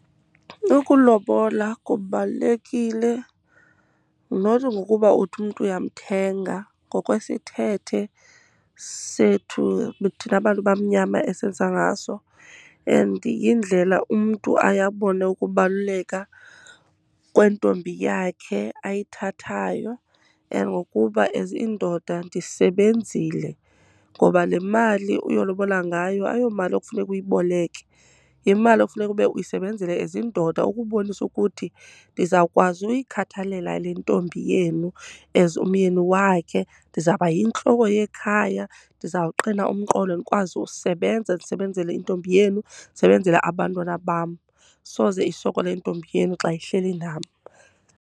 Ukulobola kubalulekile not ngokuba uthi umntu uyamthenga. Ngokwesithethe sethu thina bantu bamnyama esenza ngaso and yindlela umntu aye abone ukubaluleka kwentombi yakhe ayithathayo and ngokuba as indoda ndisebenzile. Ngoba le mali uyolobola ngayo ayomali ekufuneka uyiboleke, yimali ekufuneka ube uyisebenzele as indoda, ukubonisa ukuthi ndizawukwazi uyikhathalela le ntombi yenu as umyeni wakhe. Ndizawuba yintloko yekhaya, ndizawuqina umqolo, ndikwazi usebenza ndisebenzele intombi yenu, ndisebenzele abantwana bam. Soze isokole intombi yenu xa ihleli nam.